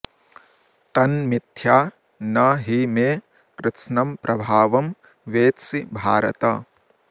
तन्मिथ्या न हि मे कृत्स्नं प्रभावं वेत्सि भारत